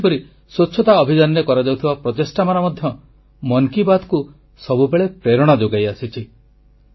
ଆଉ ସେହିପରି ସ୍ୱଚ୍ଛତା ଅଭିଯାନରେ କରାଯାଉଥିବା ପ୍ରଚେଷ୍ଟାମାନ ମଧ୍ୟ ମନ କି ବାତ୍କୁ ସବୁବେଳେ ପ୍ରେରଣା ଯୋଗାଇଆସିଛି